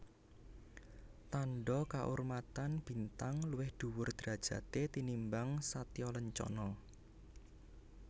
Tandha kaurmatan Bintang luwih dhuwur derajaté tinimbang Satyalancana